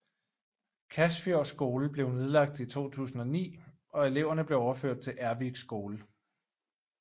Kasfjord skole blev nedlagt i 2009 og eleverne blev overført til Ervik skole